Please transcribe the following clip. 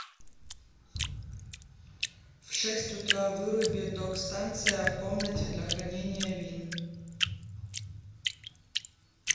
в шесть утра выруби док станция в комнате для хранения вин